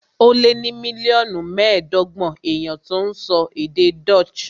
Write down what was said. Ó lé ní mílíọ̀nù mẹ́ẹ̀ẹ́dọ́gbọ̀n èèyàn tó ń sọ èdè Dutch